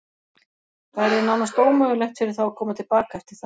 Það yrði nánast ómögulegt fyrir þá að koma til baka eftir það.